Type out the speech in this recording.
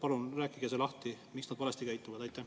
Palun rääkige lahti, miks nad valesti käituvad.